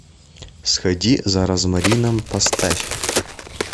сходи за розмарином поставь